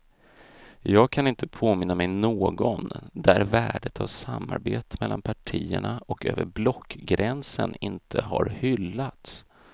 Jag kan inte påminna mig någon där värdet av samarbete mellan partierna och över blockgränsen inte har hyllats.